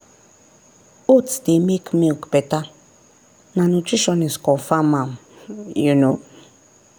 oats dey make milk better na nutritionist confirm am. um